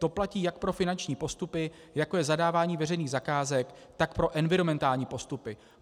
To platí jak pro finanční postupy, jako je zadávání veřejných zakázek, tak pro environmentální postupy.